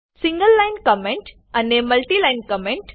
single line comment અને મુતલી line comment